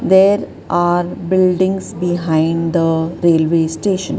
there are buildings behind the railway station.